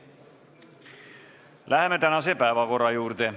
Läheme tänase päevakorra juurde.